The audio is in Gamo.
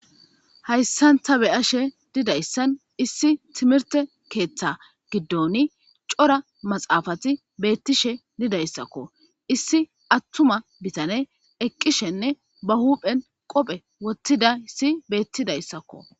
Hayssan ta be7ashe dizayssan issi timirte keeththa giddoni cora maxaafati beettishe didayssakko. Issi attuma bitane eqqishenne ba huuphen qophe wottidayssi beettidayssakko.